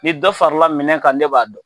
Ni dɔ farala minɛ kan ne b'a dɔn.